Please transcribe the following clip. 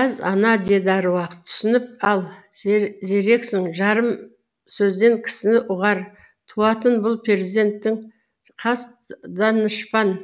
әз ана деді аруақ түсініп ал зерексің жарым сөзден кісіні ұғар туатын бұл перзентің хас данышпан